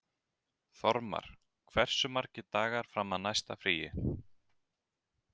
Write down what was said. Þormar, hversu margir dagar fram að næsta fríi?